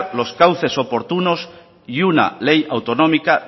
los cauces oportunos y una ley autonómica